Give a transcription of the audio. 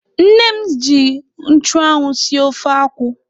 Nne m ji nchụanwụ sie ofe akwụ.